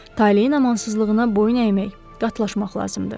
Taleyin amansızlığına boyun əymək, qatlaşmaq lazımdır.